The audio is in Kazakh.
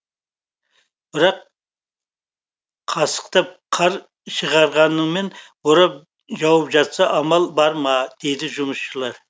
бірақ қасықтап қар шығарғанымен борап жауып жатса амал бар ма дейді жұмысшылар